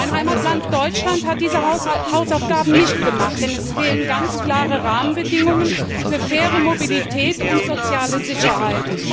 Mein Heimatland Deutschland hat diese Hausaufgaben nicht gemacht, denn es fehlen ganz klare Rahmenbedingungen für faire Mobilität und soziale Sicherheit.